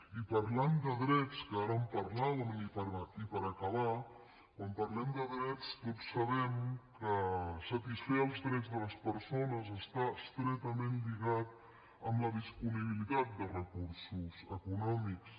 i parlant de drets que ara en parlàvem i per acabar quan parlem de drets tots sabem que satisfer els drets de les persones està estretament lligat amb la disponibilitat de recursos econòmics